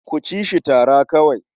Ku ci shi tara kawai.